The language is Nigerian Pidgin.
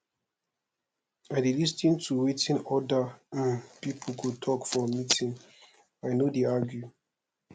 i dey lis ten to wetin oda um pipo dey tok for meeting i no dey argue